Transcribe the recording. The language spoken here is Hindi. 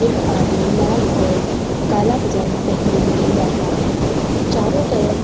यह आदमी लाल और काला पजामा पहने हुए बैठा है चारों तरफ।